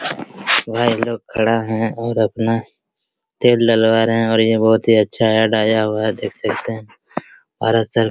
भाई लोग खड़ा है और अपना तेल डलवा रहे है और यह बहुत ही अच्छा ऐड आया हुआ है देख सकते हैं और